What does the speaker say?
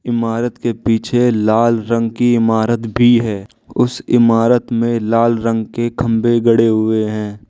इमारत के पीछे लाल रंग की इमारत भी है उस इमारत में लाल रंग के खंबे गड़े हुए हैं।